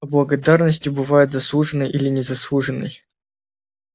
а благодарность бывает заслуженной или незаслуженной